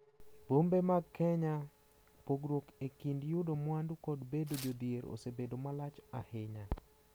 E bombe mag Kenya, pogruok e kind yudo mwandu kod bedo jodhier osebedo malach ahinya.